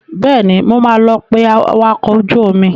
Bẹ́ẹ̀ni, mo máa lọ pé awakọ̀ ojú omi.